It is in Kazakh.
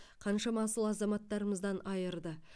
қаншама асыл азаматтарымыздан айырды